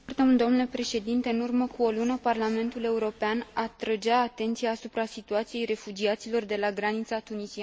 În urmă cu o lună, Parlamentul European atrăgea atenția asupra situației refugiaților de la granița tunisiano libiană.